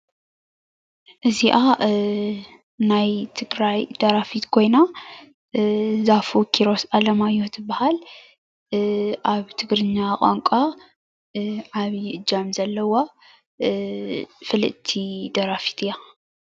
አዚኣ ናይ ትግራይ ደራፊት ኮይና ዛፉ ኪሮስ ኣለማዮ ትበሃል ኣብ ትግሪኛ ቓንቓ ዓብዩ አጃም ዘለዋ ፍልጥቲ ደራፊት አያ።